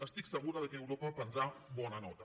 estic segura que europa en prendrà bona nota